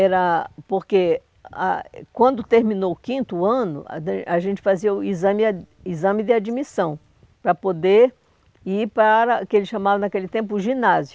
Era... porque ah ah quando terminou o quinto ano, a gente fazia o exame ah o exame de admissão, para poder ir para o que eles chamavam naquele tempo o ginásio.